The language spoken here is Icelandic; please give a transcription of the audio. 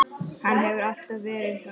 Hann hefur alltaf verið svona.